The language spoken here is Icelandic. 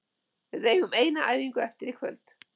Við eigum eina æfingu eftir í kvöld.